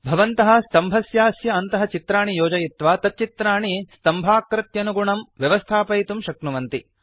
भवन्तः स्तम्भस्यास्य अन्तः चित्राणि योजयित्वा तच्चित्राणि स्तम्भाकृत्यनुगुणं व्यवस्थापयितुं शक्नुवन्ति